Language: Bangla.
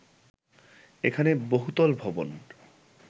এখানে বহুতল ভবন